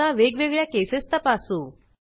आता वेगवेगळ्या केसेस तपासू